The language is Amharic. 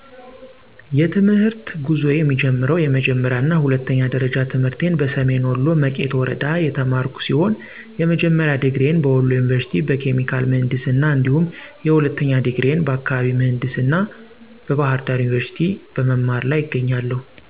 የትምህርተ ጉዞዬ የሚጀምረው የመጀመሪያ እና ሁለተኛ ደረጃ ትምህርቴን በሰሜን ወሎ መቄት ወረዳ የተማርኩ ሲሆን የመጀመሪያ ድግሪዬን በወሎ የኒቨርስቲ በኬሚካል ምህንድስና እንዲሁም የሁለተኛ ድግሬዬን በአካባቢ ምህንድስና በባህርዳር ዩኒቨርስቲ በመማር ላይ እገኛለሁ።